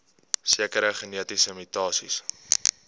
sekere genetiese mutasies